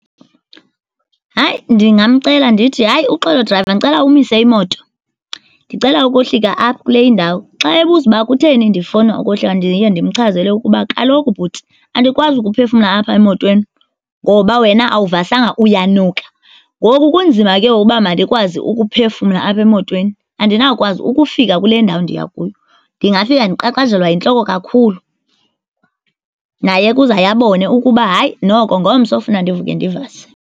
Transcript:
Hayi, ndingamcela ndithi, hayi uxolo drayiva, ndicela umise imoto. Ndicela ukohlika apha kule indawo. Xa ebuza ukuba kutheni ndifuna ukuhlika, ndiye ndimchazele ukuba kaloku bhuti andikwazi ukuphefumla apha emotweni ngoba wena awuvasanga, uyanuka. Ngoku kunzima ke ngoku ukuba mandikwazi ukuphefumla apha emotweni. Andinawukwazi ukufika kule ndawo ndiya kuyo. Ndingafika ndiqaqanjelwa yintloko kakhulu. Naye ke uzawuye abone ukuba hayi, noko ngomso, kufuneka ndivuke ndivase.